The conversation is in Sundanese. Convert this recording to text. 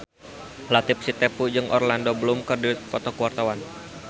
Latief Sitepu jeung Orlando Bloom keur dipoto ku wartawan